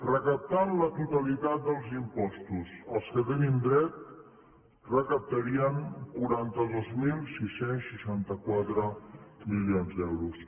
recaptant la totalitat dels impostos a què tenim dret recaptarien quaranta dos mil sis cents i seixanta quatre milions d’euros